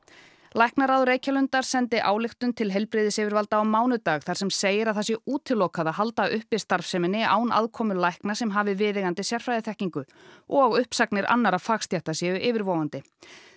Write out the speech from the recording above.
læknaráð Reykjalundar sendi ályktun til heilbrigðisyfirvalda á mánudag þar sem segir að það sé útilokað að halda uppi starfseminni án aðkomu lækna sem hafi viðeigandi sérfræðiþekkingu og uppsagnir annarra fagstétta séu yfirvofandi